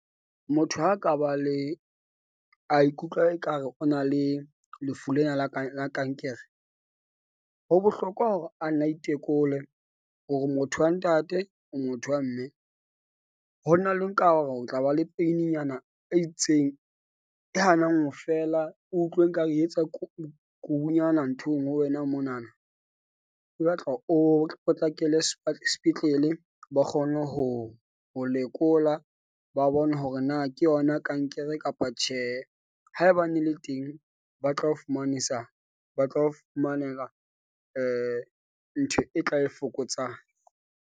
Motho ha ka ba le a ikutlwa ekare o na le lefu lena la kang la kankere. Ho bohlokwa hore a nne a itekole hore motho wa ntate o motho wa mme. Ho na le nka hore o tla ba le peininyana e itseng e hanang ho fela. O utlwe ekare e etsa kurunyana nthong ho wena mona na e batla o potlakele sepetlele ba kgone ho ho lekola. Ba bone hore na ke yona kankere kapa tjhe. Haebane le teng ba tla o fumanisa, ba tla o fumanela ntho e tla e fokotsang.